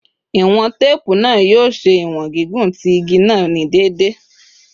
Iwọn teepu naa yoo ṣe iwọn gigun ti igi naa ni deede